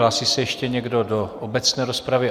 Hlásí se ještě někdo do obecné rozpravy?